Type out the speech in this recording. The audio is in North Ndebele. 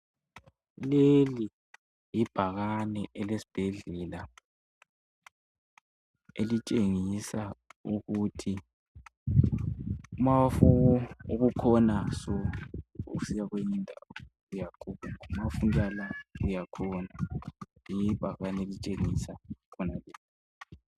leli libhakane elesibhedlela elitshengisa ukuthi mawufuna ukukhona so usiya kweyinye indawo mawufuna ukuya la uyakhona libhakane elitshengisa khonalokhu